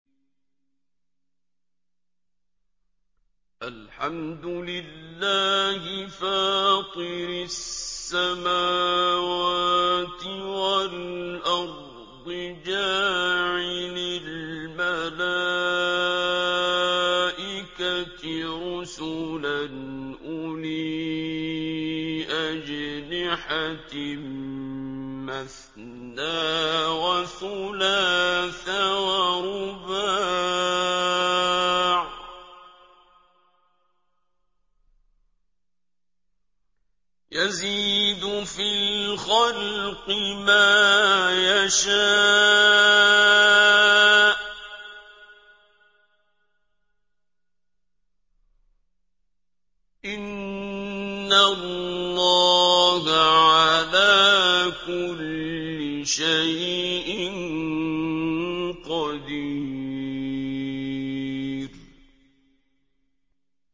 الْحَمْدُ لِلَّهِ فَاطِرِ السَّمَاوَاتِ وَالْأَرْضِ جَاعِلِ الْمَلَائِكَةِ رُسُلًا أُولِي أَجْنِحَةٍ مَّثْنَىٰ وَثُلَاثَ وَرُبَاعَ ۚ يَزِيدُ فِي الْخَلْقِ مَا يَشَاءُ ۚ إِنَّ اللَّهَ عَلَىٰ كُلِّ شَيْءٍ قَدِيرٌ